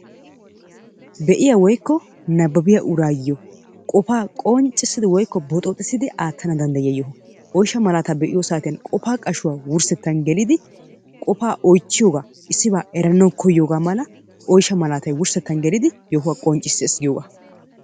Be'iya woykko nabbabbiya uraayo qofaa qonccissidi woykko boxxooxxissidi aattanaa danddyiya yoho. Oyshsha malaataa be'iyo saatiyan qofaa qashuwa wurssettaan gelidi qofaa oychchiyogaa eranawu koyiyogaa mala oyshsha malaatay wurssettaan gelidi yohuwa qonccissees giyoga.